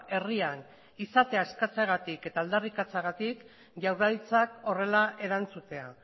herrian izatea eskatzeagatik eta aldarrikatzeagatik jaurlaritzak horrela erantzutea